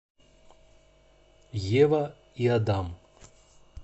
ева и адам